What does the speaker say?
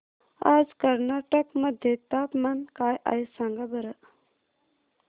आज कर्नाटक मध्ये तापमान काय आहे सांगा बरं